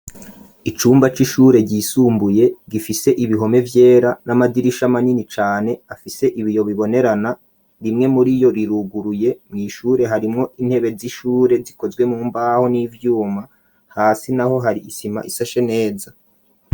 Icumba c'ishure ryisumbuye ,gifise ibihome vyera, n'amadirisha manini cane, afise ibiyo bibonerana ,rimwe muri yo riruguruye mw'ishure harimwo intebe z'ishure zikozwe mumbaho ,n'ivyuma hasi naho hari isima isashe neza.